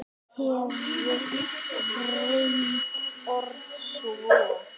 En hefur reyndin orðið svo?